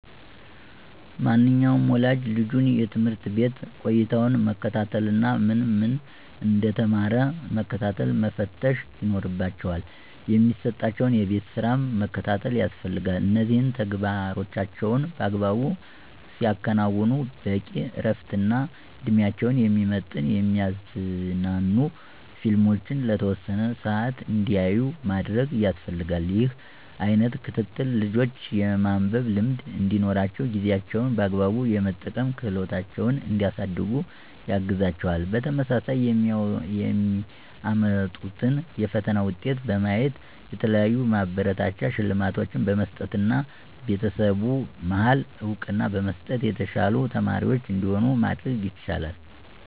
ማንኛውም ወላጅ ልጁን የትምህርት ቤት ቆይታውን መከታተል እና ምን ምን እንደተማረ መከታተልና መፈተሽ ይኖርባቸዋል። የሚሰጣቸውን የቤት ስራም መከታተል ያስፈልጋል እነዚህን ተግባሮቻቸውን በአግባቡ ሲያከናዉኑ በቂ እረፍትና እድሜያቸውን የሚመጥን የሚያዝናኑ ፊልሞችን ለተወሰነ ሰአት እንዲያዩ ማድረግ ያስፈልጋል። ይህ አይነት ክትትል ልጆች የማንበብ ልምድ እንዲኖራቸውና ጊዜያቸውን በአግባቡ የመጠቀም ክህሎታቸውን እንዲያሳድጉ ያግዛቸዋል። በተመሳሳይ የሚያመጡትን የፈተና ውጤት በማየት የተለያዩ ማበረታቻ ሽልማቶችን በመስጠትና በቤተሰቡ መሀል እውቅና በመስጠት የተሻሉ ተማሪዎች እንዲሆኑ ማድረግ ይቻላል።